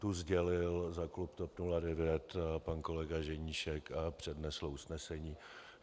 Tu sdělil za klub TOP 09 pan kolega Ženíšek a přednesl usnesení.